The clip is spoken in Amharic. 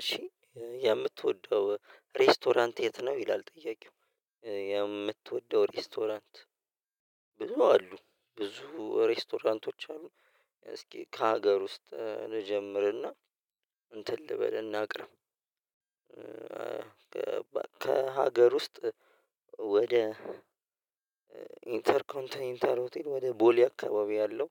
እሺ የምትወደው ሬስቶራንት የት ነው ይላል ጥያቄው? የምትወደው ሬስቶራንት ብዙ አሉ ብዙ ሬስቶራንቶች አሉ። እስኪ ከሀገር ውስጥ ልጀምርና እንትን ልበል እናቅርም ከሀገር ውስጥ ወደ ኢንተር ኮንተን ኢንተር ሆቴል ወደ ቦሌ አካባቢ ያለው